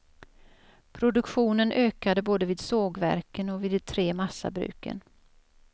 Produktionen ökade både vid sågverken och vid de tre massabruken.